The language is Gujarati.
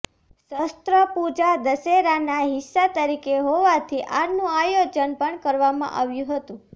શસ્ત્રપૂજા દશેરાના હિસ્સા તરીકે હોવાથી આનું આયોજન પણ કરવામાં આવ્યું હતું